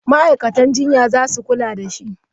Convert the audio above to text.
Ma'aikatan jinya za su kula da shi.